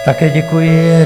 Také děkuji.